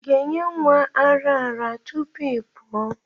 ị ga-enye nwa ara ara tupu ị pụọ?